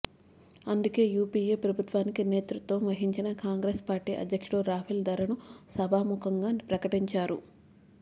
అందుకే యుపీఏ ప్రభుత్వానికి నేతృత్వం వహించిన కాంగ్రెస్ పార్టీకి అధ్యక్షుడు రాఫెల్ ధరను సభాముఖంగా ప్రకటించారు